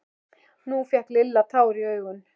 Nú fékk Lilla tár í augun.